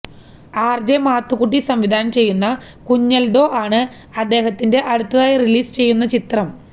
RJ Mathukutty സംവിധാനം ചെയ്യുന്ന കുഞ്ഞൽദോ ആണ് അദ്ദേഹത്തിൻറെ അടുത്തതായി റിലീസ് ചെയ്യുന്ന ചിത്രം